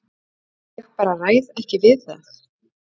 Ég bara ræð ekki við það.